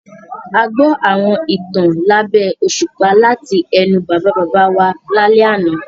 A gbọ́ àwọn ìtàn lábẹ́ òṣùpá láti ẹnu Bàbá-bàbá wa lálẹ́ àná.